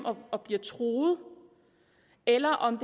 og bliver truet eller om